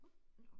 Nåh